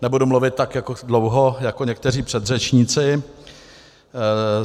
Nebudu mluvit tak dlouho jako někteří předřečníci.